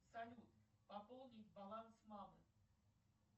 салют пополнить баланс мамы